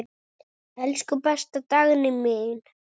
Elsku besta Dagný mín.